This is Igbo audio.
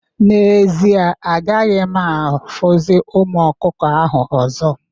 N'ezie, agaghị m afụzi ụmụ ọkụkọ ahụ ọzọ